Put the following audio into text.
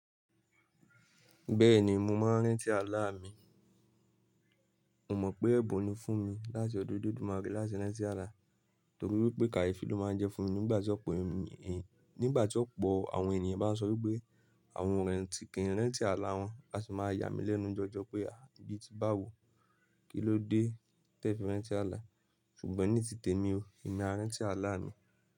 Bẹ́ẹ̀ni, mo máa ń rántí àlá mi. Mo mọ̀n pé ẹ̀bùn ni fún mi láti ọdún dúdú marín láti rántí àlá, torí pé kàyéfì ló máa ń jẹ́ fún mi nígbà tí ọ̀pọ̀ àwọn ènìyàn bá ń sọ wípé àwọn ò rántí kí ń rántí àlá wọn, a sin máa yà mí lẹ́nu jọjọ pé bí ti bá wò, kí ló dé tí ẹ fi rántí àlá. Ṣùgbọ́n nítitemi o, èmi má rántí àlá mi.